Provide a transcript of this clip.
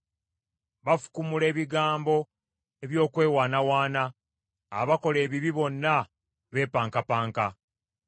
Bafukumula ebigambo eby’okwewaanawaana; abakola ebibi bonna beepankapanka.